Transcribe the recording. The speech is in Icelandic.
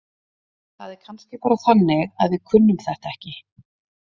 Það er kannski bara þannig að við kunnum þetta ekki.